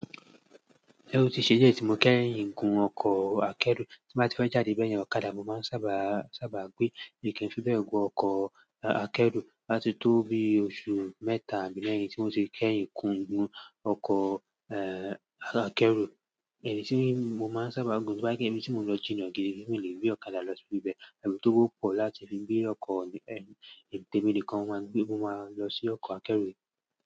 Ẹ̀wo ti ṣe dié tí mo kẹ́yìn gùn ọkọ̀ akẹ́rù. Tí mo bá ti fẹ́ jáde bẹ́yẹn ọ̀kadà, mo máa ń sáábà gbé mi oo kin fi bẹ́ẹ̀ gùn ọkọ̀ akẹ́rù. Áti tó bí oṣù mẹ́ta àbí mẹ́rìn tí mo ti kẹ́yìn gùn ọkọ̀ akẹ́rù. Ẹyi tí mo máa ń sáábà gùn bí bá jẹ kí ibi tí mo lọ ji na gidi wípe mi lè rí ọ̀kadà lọ sí ibẹ̀. Ẹ̀wù ti owọ́ pọ̀ láti fi gbé ọkọ̀ ẹ̀rìn tèminìkan wá ni pé mo máa lọ sí ọkọ̀ akẹ́rù.